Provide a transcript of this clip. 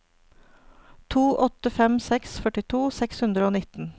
to åtte fem seks førtito seks hundre og nitten